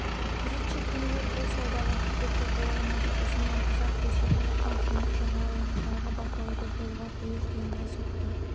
күзетші кемелер бұл саудаға кедергі бола алмады ұзыннан-ұзақ көсіліп жатқан теңіз жағалауын қырағы бақылауды жолға қою қиынға соқты